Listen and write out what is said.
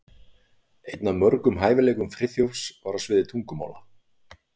Einn af mörgum hæfileikum Friðþjófs var á sviði tungumála.